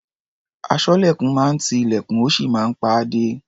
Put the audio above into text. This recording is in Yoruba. Aṣọ́lẹ̀kùn máa ń ti ilẹ̀kùn, ó sì máa ń pa á dé.